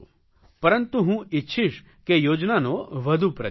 પરંતુ હું ઇચ્છીશ કે યોજનાનો વધુ પ્રચાર થાય